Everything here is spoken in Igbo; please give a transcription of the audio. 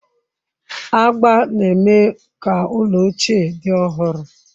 Agba na-eme ka ụlọ ochie dị ọhụrụ.